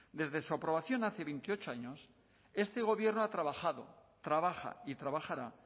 desde su aprobación hace veintiocho años este gobierno ha trabajado trabaja y trabajará